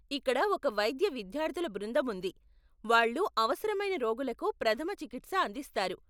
ఇక్కడ ఒక వైద్య విద్యార్థుల బృందం ఉంది , వాళ్ళు అవసరమైన రోగులకు ప్రథమ చికిత్స అందిస్తారు.